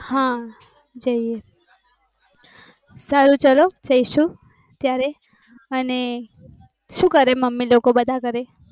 હા જઈએ સારું ચાલે જૈસુ અને શું કરે મમ્મી બધા લોકો ઘરે.